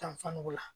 Tanfan o la